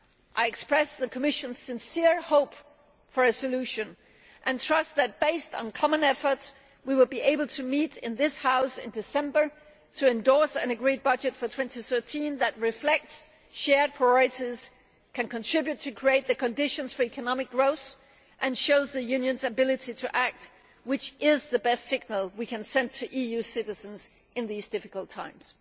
I express my sincere hope for a solution, and trust that, based on common efforts, we will be able to meet in this House in December to endorse an agreed budget for 2013 which reflects shared priorities, can contribute to creating the conditions for economic growth, and shows the Union's ability to act, which is the best signal we can send to EU citizens in these difficult times.